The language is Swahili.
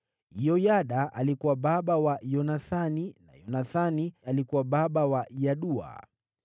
Yoyada alikuwa baba wa Yonathani, na Yonathani alikuwa baba wa Yadua.